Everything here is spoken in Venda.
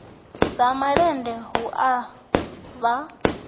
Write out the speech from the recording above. dza malende hu a vha